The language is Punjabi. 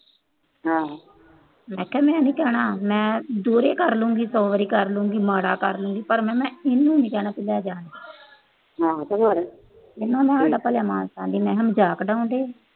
ਮੈਂ ਕਿਹਾ, ਮੈਂ ਨੀ ਕਹਿਣਾ, ਮੈਂ ਦੁਹਰੇ ਕਰ ਲਊਂਗੀ, ਸੌ ਵਾਰੀ ਕਰ ਲਊਂਗੀ। ਮਾੜਾ ਕਰ ਲਊਂਗੀ ਪਰ ਮੈਂ ਇਹਨੂੰ ਨੀ ਕਹਿਣਾ ਲੈ ਜਾ। ਹੁਣ ਮਜਾਕ ਉਡਾਉਂਦੇ ਆ।